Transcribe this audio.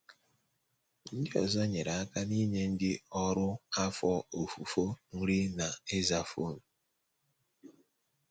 Ndị ọzọ nyere aka n’inye ndị ọrụ afọ ofufo nri na ịza fon.